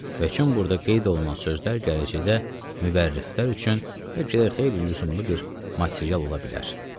Və kim burda qeyd olunan sözlər gələcəkdə müvərrixlər üçün bəlkə də xeyli lüzumlu bir material ola bilər.